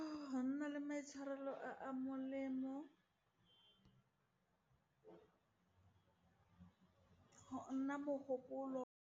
Go nna le maitshwarelo a a molemo, go nna mogopolo.